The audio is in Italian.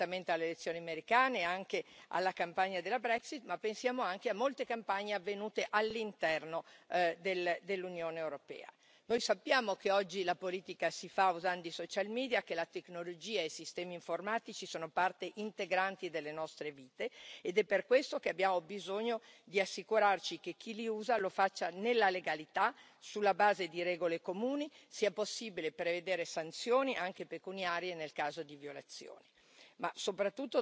Quindi pensiamo certamente alle elezioni americane e anche alla campagna della Brexit, ma pensiamo anche a molte campagne avvenute all'interno del dell'Unione europea. Noi sappiamo che oggi la politica si fa usando i social media, che la tecnologia e i sistemi informatici sono parte integrante delle nostre vite ed è per questo che abbiamo bisogno di assicurarci che chi li usa lo faccia nella legalità e sulla base di regole comuni e che sia possibile prevedere sanzioni anche pecuniarie nel caso di violazioni.